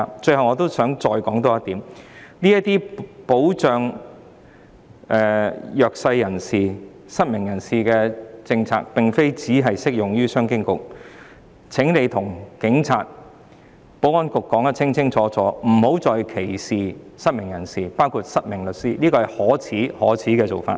最後我想再提出一點，這些保障弱勢人士、失明人士的政策並非只適用於商務及經濟發展局，請官員清楚告訴警察和保安局，不要再歧視失明人士，包括失明律師，這是十分可耻的做法。